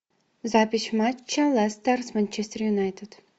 запись матча лестер с манчестер юнайтед